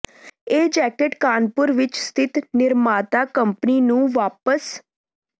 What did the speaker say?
ਇਹ ਜੈਕਟ ਕਾਨਪੁਰ ਵਿਚ ਸਥਿਤ ਨਿਰਮਾਤਾ ਕੰਪਨੀ ਨੂੰ ਵਾਪਸ